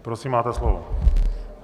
Prosím, máte slovo.